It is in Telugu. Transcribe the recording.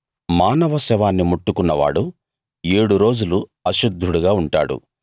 మానవ శవాన్ని ముట్టుకున్నవాడు ఏడు రోజులు అశుద్ధుడుగా ఉంటాడు